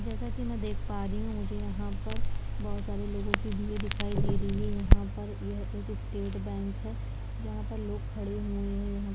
जैसा की मै देख पा रही हूँ मुझे यहाँ पर बहुत सारे लोगो की भीड़ दिखाई दे रही है यहाँ पर यह एक स्टेट बैंक है जहाँ पर लोग खड़े हुए हैं यहाँ--